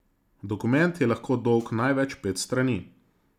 Dokument je lahko dolg največ pet strani.